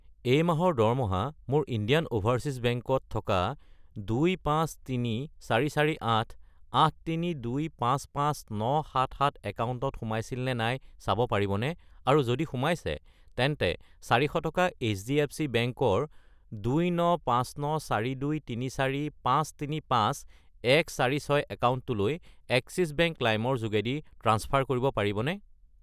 এই মাহৰ দৰমহা মোৰ ইণ্ডিয়ান অ'ভাৰচীজ বেংক ত থকা 253,448,832,55977 একাউণ্টত সোমাইছিল নে নাই চাব পাৰিবনে, আৰু যদি সোমাইছে তেন্তে 400 টকা এইচডিএফচি বেংক ৰ 29594234,535,146 একাউণ্টটোলৈ এক্সিছ বেংক লাইম ৰ যোগেদি ট্ৰাঞ্চফাৰ কৰিব পাৰিবনে?